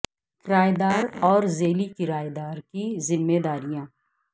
کرایہ دار اور ذیلی کرایہ دار کی ذمہ داریاں